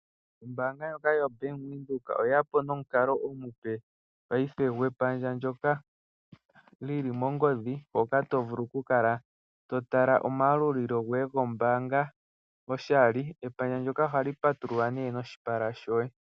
Ombanga lyoka yo Bank windhoek oye yapo nomukalo omupe paife gwepandja ndjoka lyili mongodhi hoka tovulu oku kala to tala omwalulo goye gombanga koshali. Epandja ndyoka ohali patululwa noshipala shoye.